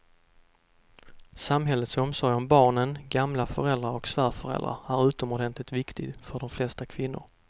Samhällets omsorg om barnen, gamla föräldrar och svärföräldrar är utomordentligt viktig för de flesta kvinnor.